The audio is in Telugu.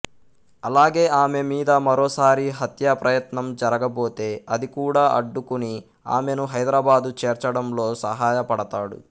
అలాగే ఆమె మీద మరోసారి హత్యాప్రయత్నం జరగబోతే అది కూడా అడ్డుకుని ఆమెను హైదరాబాదు చేర్చడంలో సహాయపడతాడు